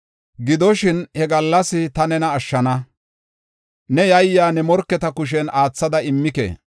Gidoshin, he gallas ta nena ashshana; ne yayiya, ne morketa kushen aathada immike.